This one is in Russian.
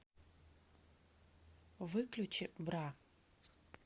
выключи бра